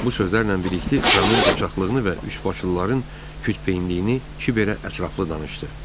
Bu sözlərlə birlikdə Ramın qoçaqlığını və üçbaşlıların kütbeyinliyini Kiber belə ətraflı danışdı.